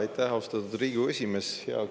Aitäh, austatud Riigikogu esimees!